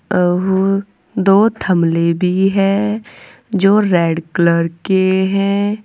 और दो थमले भी है जो रेड कलर के हैं।